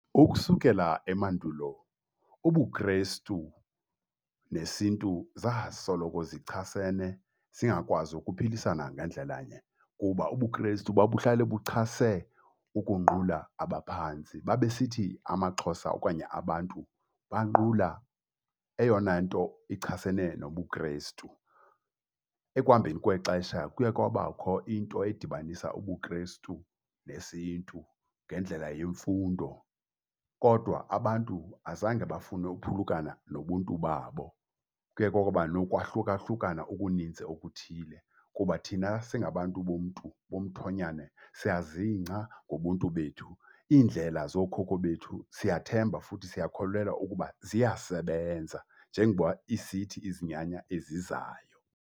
Ukusukela emandulo ubuKrestu nesiNtu zasoloko zichasene singakwazi ukuphilisana ngandlelanye kuba ubuKrestu babuhlale buchase ukunqula abaphantsi. Babe sithi amaXhosa okanye abantu banqula eyona nto ichasene nobuKrestu. Ekuhambeni kwexesha kuya kwabakho into edibanisa ubuKrestu nesiNtu ngendlela yemfundo, kodwa abantu azange bafune uphulukana nobuntu babo. Kuye kwaba nokwahlukahlukana okunintsi okuthile kuba thina singabantu bomntu womthonyane siyazingca ngobuntu bethu. Iindlela zokhokho bethu siyathemba futhi siyakholelwa ukuba ziyasebenza njengoba isithi izinyanya ezizayo.